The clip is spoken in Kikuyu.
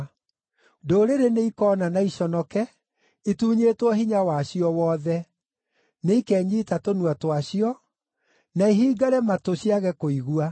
Ndũrĩrĩ nĩikoona na iconoke, itunyĩtwo hinya wacio wothe. Nĩikenyiita tũnua twacio, na ihingare matũ ciage kũigua.